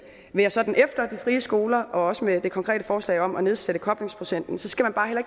være sådan efter de frie skoler også med det konkrete forslag om at nedsætte koblingsprocenten så skal man bare heller